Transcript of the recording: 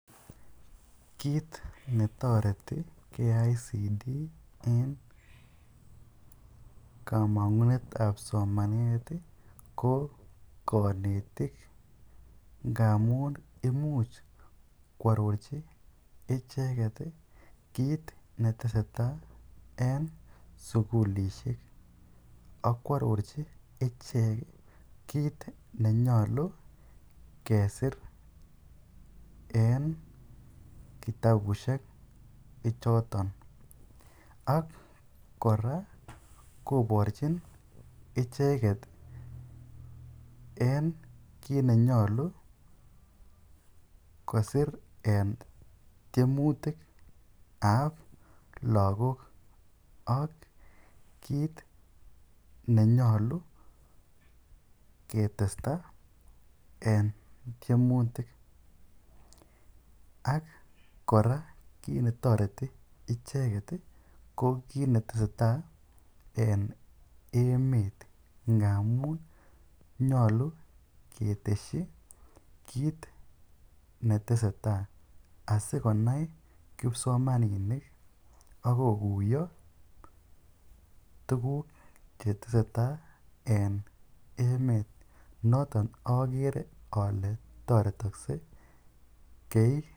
Kiit netoreti KICD en kamang'unet ap somanet ko konetik ngamun imuch koarorji icheget kit netestai en sugulisiek . Ak koarorji ichek kit nenyolu kesir en kitabushek chotn. Ak kora koborjinicheget en kit nenyolu kosir en tiemutik ab lagok, ak kit ne nyolu ketesta en tyemutik. Ak kora kiit netoreti icheget ko kiit netestai en emet ngamun nyolu ketesyi kiit netesetai asikonai kipsomaninik ak koguiyo, tuguk che tesetai en emet. Noton ogere ole toretokse.